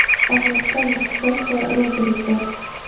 Allohdan mag‘firat va rozilik bor.